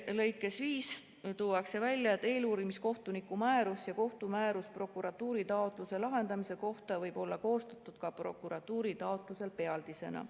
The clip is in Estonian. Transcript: " Lõikes 5 tuuakse välja, et "eluurimiskohtuniku määrus ja kohtumäärus prokuratuuri taotluse lahendamise kohta võib olla koostatud prokuratuuri taotlusel pealdisena.